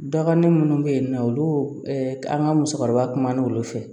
Dɔgɔnin minnu bɛ yen nɔ olu an ka musokɔrɔba kumana olu fɛ